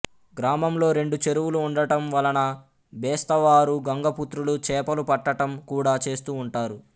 గ్రామంలో రెండు చెరువులు ఉండటం వలన బెస్తవారు గంగపుత్రులు చేపలు పట్టటం కూడా చేస్తూ ఉంటారు